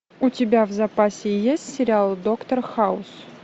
у тебя в запасе есть сериал доктор хаус